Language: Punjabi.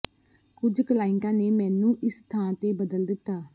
ਕੁਝ ਕਲਾਇੰਟਾਂ ਨੇ ਮੈਨੂੰ ਇਸ ਥਾਂ ਤੇ ਬਦਲ ਦਿੱਤਾ